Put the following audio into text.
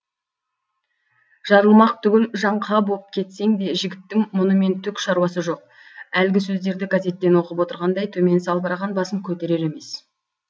жарылмақ түгіл жаңқа боп кетсең де жігіттің мұнымен түк шаруасы жоқ әлгі сөздерді газеттен оқып отырғандай төмен салбыраған басын көтерер емес